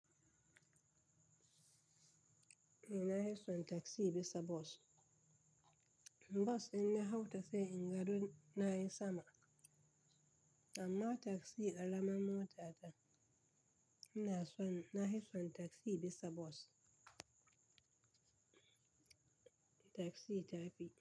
Eh na yi son taksi bisa bos. Bos in na hau ta sai in gado na yi sama, amma taksi alamar mota ta. Ina son, na yi son taksi bisa bos. Taksin ta tafi.